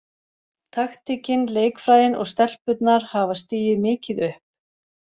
Taktíkin, leikfræðin og stelpurnar hafa stigið mikið upp.